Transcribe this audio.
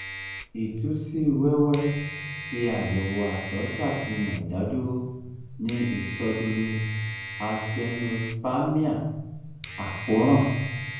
itu si um wẹwẹ ti ayewo àtọ safihan idaduro ni isodomi asthenospermia v akoran